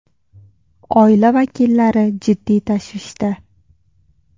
Oila vakillari jiddiy tashvishda.